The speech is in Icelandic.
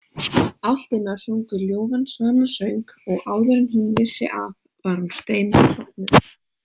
Álftirnar sungu ljúfan svanasöng og áður en hún vissi af var hún steinsofnuð.